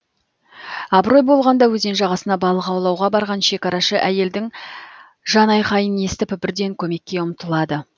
абырой болғанда өзен жағасына балық аулауға барған шекарашы әйелдің жанайқайын естіп бірден көмекке ұмтылады